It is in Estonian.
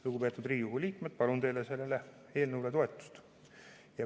Lugupeetud Riigikogu liikmed, palun teilt sellele eelnõule toetust!